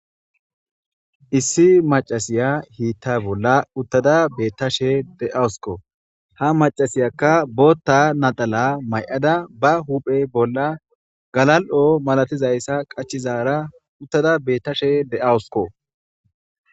issi macasiya hiitta bolla uttada beettashe de7awusko ha macasiyakka bootta nadala may7ada ba huphe bolla galal7o malatizayssa qachizaara uttada beettashe de7awusko